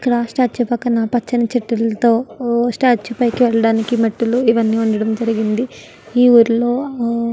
ఇక్కడ స్టాట్యూ పక్కన పచ్చని చెట్టులతో స్టాట్యూ పైకి వెళ్ళడానికి మెట్లు ఇవన్నీ ఉండడం జరిగింది. ఈ ఊరిలో--